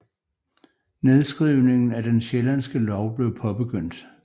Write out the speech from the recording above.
Nedskrivningen af Den sjællandske lov blev påbegyndt